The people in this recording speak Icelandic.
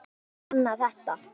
Og nýleg dæmi sanna þetta.